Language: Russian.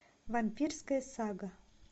вампирская сага